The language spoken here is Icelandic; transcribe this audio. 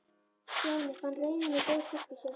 Stjáni fann reiðina gjósa upp í sér.